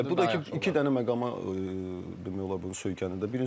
Bəli, bu da iki dənə məqama demək olar bu söykənirdi.